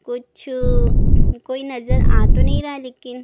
कुछ कोई नज़र आ तो नहीं रहा है लेकिन--